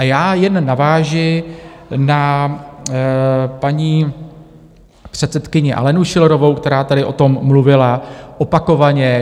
A já jen navážu na paní předsedkyni Alenu Schillerovou, která tady o tom mluvila opakovaně.